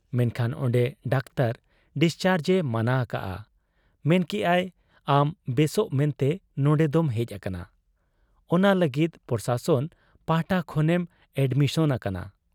ᱢᱮᱱᱠᱷᱟᱱ ᱚᱱᱰᱮ doctor discharge ᱮ ᱢᱟᱱᱟ ᱟᱠᱟᱜ ᱟ, ᱢᱮᱱ ᱠᱮᱜ ᱟᱭ, ᱟᱢ ᱵᱮᱥᱚᱜ ᱢᱮᱱᱛᱮ ᱱᱚᱱᱰᱮ ᱫᱚᱢ ᱦᱮᱡ ᱟᱠᱟᱱᱟ ᱾